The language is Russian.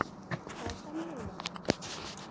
сашамин